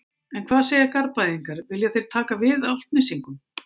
En hvað segja Garðbæingar, vilja þeir taka við Álftnesingum?